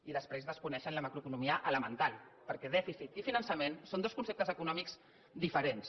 i després desconeixen la macroeconomia elemental perquè dèficit i finançament són dos conceptes econòmics diferents